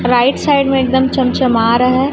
Right side में एकदम चम-चमा रहा है।